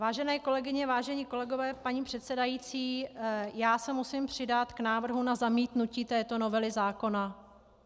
Vážené kolegyně, vážení kolegové, paní předsedající, já se musím přidat k návrhu na zamítnutí této novely zákona.